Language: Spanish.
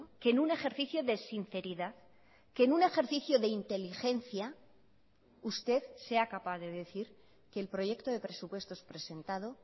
que en un ejercicio de sinceridad que en un ejercicio de inteligencia usted sea capaz de decir que el proyecto de presupuestos presentado